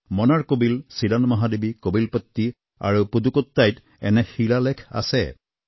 মনাৰকোবিল চিৰান মহাদেৱী কোবিলপট্টী বা পুডুকোট্টইত এনে শিলালেখ আছে